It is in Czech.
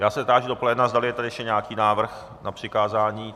Já se táži do pléna, zdali je tady ještě nějaký návrh na přikázání.